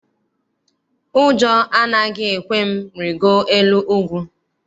Ụjọ anaghị ekwe m rigoo elu ugwu.